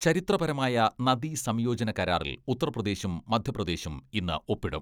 ചരിത്രപരമായ നദീസംയോജന കരാറിൽ ഉത്തർപ്രദേശും മധ്യപ്രദേശും ഇന്ന് ഒപ്പിടും.